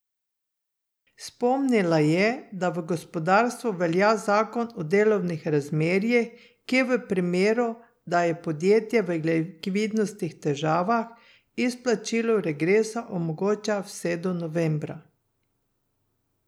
Spomnila je, da v gospodarstvu velja zakon o delovnih razmerjih, ki v primeru, da je podjetje v likvidnostnih težavah, izplačilo regresa omogoča vse do novembra.